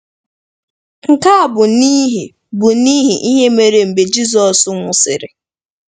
Nke a bụ n’ihi bụ n’ihi ihe mere mgbe Jizọs nwụsịrị.